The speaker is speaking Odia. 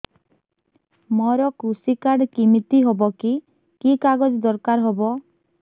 ମୋର କୃଷି କାର୍ଡ କିମିତି ହବ କି କି କାଗଜ ଦରକାର ହବ